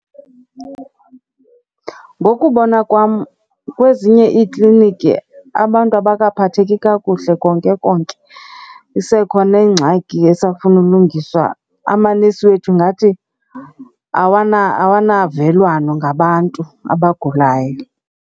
Ngokubona kwam, kwezinye iikliniki abantu abakaphatheki kakuhle konke konke. Isekhona ingxaki esafuna ulungiswa. Amanesi wethu ngathi awanavelwano ngabantu abagulayo.